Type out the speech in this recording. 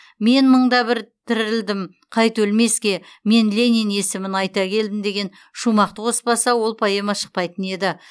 мен мың да бір тірілдім қайта өлмеске мен ленин есімін айта келдім деген шумақты қоспаса ол поэма шықпайтын еді